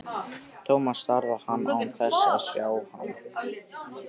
Thomas starði á hann án þess að sjá hann.